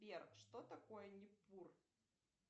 сбер что такое непур